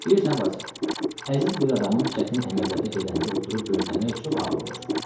Bilirsən Valsya, əziz bir adamın çətin əməliyyata gedəndə oturub gözləmək çox ağır olur.